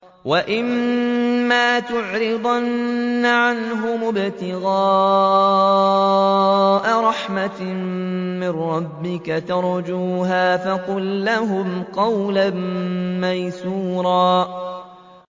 وَإِمَّا تُعْرِضَنَّ عَنْهُمُ ابْتِغَاءَ رَحْمَةٍ مِّن رَّبِّكَ تَرْجُوهَا فَقُل لَّهُمْ قَوْلًا مَّيْسُورًا